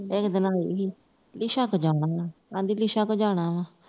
ਇਕ ਦਿਨ ਆਦੀ ਸੀ lisa ਕੋਲ ਜਾਣਾ ਵਾਹ ਆਦੀ lisa ਕੋਲ ਜਾਣਾ ਵਾਹ